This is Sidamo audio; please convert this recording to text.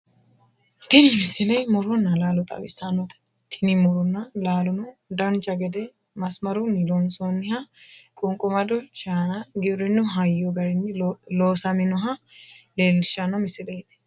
tini misile muronna laalo xawissannote tini muronna laalono dancha gede masimarunni loonsoonniha qunqumado shaana giwirinnu hayyo garini loosaminoha leellishshanno misileeti